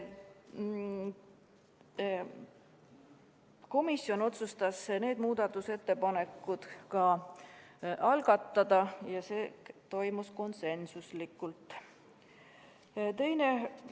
Komisjon otsustas need muudatusettepanekud ka algatada, see toimus konsensusega.